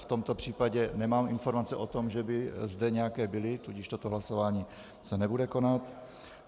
V tomto případě nemám informaci o tom, že by zde nějaké byly, tudíž toto hlasování se nebude konat.